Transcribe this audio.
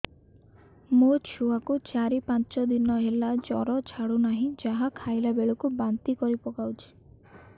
ମୋ ଛୁଆ କୁ ଚାର ପାଞ୍ଚ ଦିନ ହେଲା ଜର ଛାଡୁ ନାହିଁ ଯାହା ଖାଇଲା ବେଳକୁ ବାନ୍ତି କରି ପକଉଛି